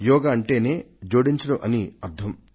యోగా అంటేనే జోడించడం అని అర్థం